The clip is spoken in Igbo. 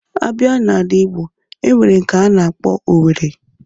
A bịa n'ala Ịgbo, e nwere nke a na-akpọ Owerri.